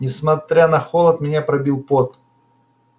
несмотря на холод меня пробил пот